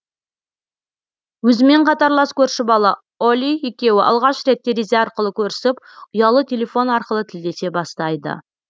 өзімен қатарлас көрші бала олли екеуі алғаш рет терезе арқылы көрісіп ұялы телефон арқылы тілдесе бастайды